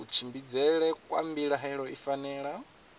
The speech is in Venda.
kutshimbidzele kwa mbilaelo i fanela